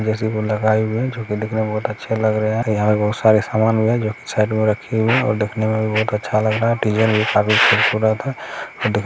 लगाए हुए है दिखने बहुत अच्छे लग रहे है यहाँ बहुत सारे समान हुए है साइड रखे हुए है और दिखने में बहुत अच्छा लग रहा है